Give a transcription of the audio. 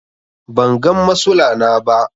bangan masula na ba